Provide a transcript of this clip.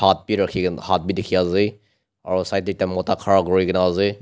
rakhi na hath bhi dikhi ase aru side teh ekta mota khara kuri ke na ase.